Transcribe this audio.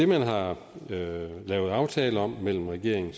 man har lavet aftale om mellem regeringen